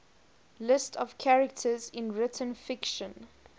lists of characters in written fiction